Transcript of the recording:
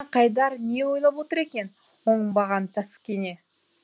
қайдар не ойлап отыр екен оңбаған таскене